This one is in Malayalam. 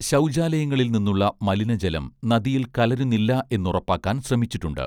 ശൗചാലയങ്ങളിൽ നിന്നുള്ള മലിന ജലം നദിയിൽ കലരുന്നില്ല എന്നുറപ്പാക്കാൻ ശ്രമിച്ചിട്ടുണ്ട്